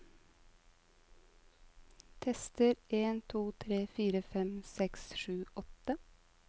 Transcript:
Tester en to tre fire fem seks sju åtte